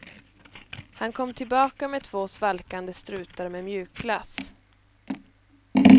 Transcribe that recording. Han kom tillbaka med två svalkande strutar med mjukglass.